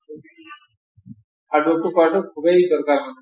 struggle টো কৰাটো খুবেই দৰকাৰ ।